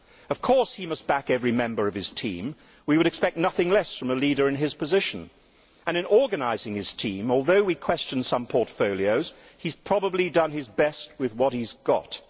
Of course he must back every member of his team we would expect nothing less from a leader in his position and, in organising his team, although we question some portfolios, he has probably done his best with what he has got.